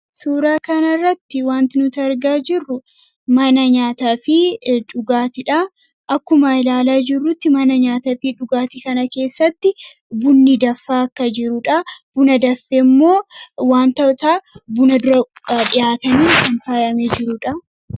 suuraa kanarratti wanti nuti argaa jirru mana nyaataa fi dhugaatidha akkuma ilaalaa jirrutti mana nyaata fi dhugaati kana keessatti bunni danfaa akka jiruudha buna danfee immoo wantootaa buna dhufuu dura dhihaatanii in faayamu jiruudha.